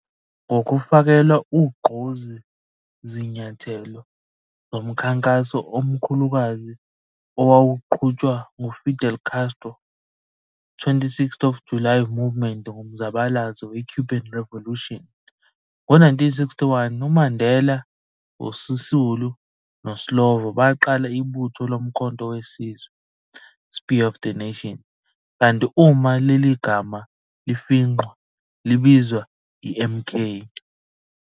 Ngokufakelwa ugqozi zinyathelo zomkhankaso omkhulukazi owawuqhutshwa ngu-Fidel Castro's 26th of July Movement ngomzabalazo we-Cuban Revolution, ngo-1961, uMandela, uSisulu noSlovo baqala ibutho lo-Umkhonto weSizwe, "Spear of the Nation", kanti uma leli gama lifingqwa libizwa i-MK.